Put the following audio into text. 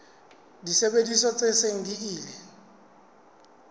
disebediswa tse seng di ile